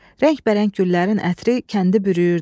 Rəngbərəng güllərin ətri kəndi bürüyürdü.